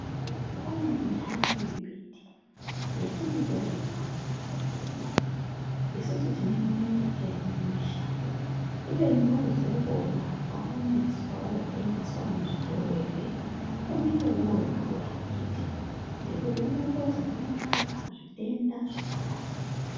Pane intani imbuti yatinotorima mumakanyi mwedumo isusu tinoiona ungatei aina mushando kubeni woozouwona waomeswa wootengeswa muzvitoro ere unenge woodhura akhiti ngekuti unotozi unorapa zvitenda zvakawanda.